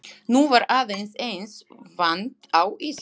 Nú var aðeins eins vant á Íslandi.